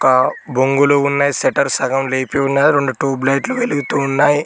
ఆ బొంగులు ఉన్నయ్ షెట్టర్ సకం లేపి ఉన్నది రెండు ట్యూబ్ లైట్లు వెలుగుతూ ఉన్నాయి.